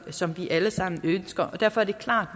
som vi alle sammen ønsker derfor er det klart